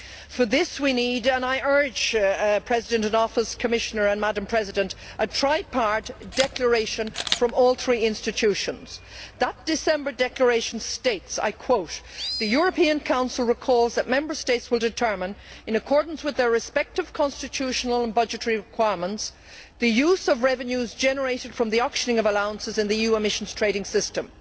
For this and I urge the President in Office, the Commissioner and Madam President to remember this we need a tripartite declaration from all three institutions. This December declaration states The European Council recalls that Member States will determine, in accordance with their respective constitutional and budgetary requirements, the use of revenues generated from the auctioning of allowances in the EU emissions trading system.